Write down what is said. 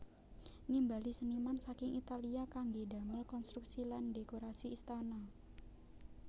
Nimbali seniman saking Italia kanggé damel konstruksi lan dhékorasi istana